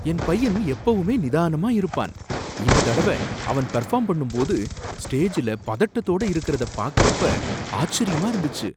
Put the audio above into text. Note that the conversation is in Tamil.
என் பையன் எப்பவுமே நிதானமா இருப்பான், இந்ததடவ அவன் பெர்ஃபாம் பண்ணும் போது ஸ்டேஜ்ல பதட்டத்தோட இருக்குறத பாக்குறப்ப ஆச்சரியமா இருந்துச்சு.